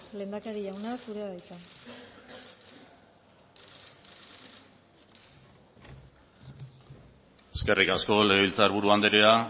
lehendakarik jauna zurea da hitza eskerrik asko legebiltzar buru anderea